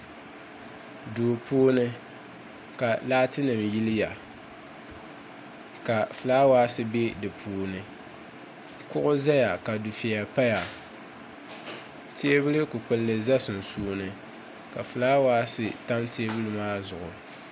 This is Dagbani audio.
duu puuni ka laatinima yiliya ka fulaawaasi be di puuni kuɣu zaya ka dufeya paya teebuli kpupkili za sunsuuni ka fulaawaasi tam teebuli maa zuɣu